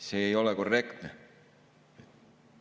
See ei ole korrektne.